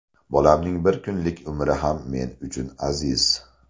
Bolamning bir kunlik umri ham men uchun aziz.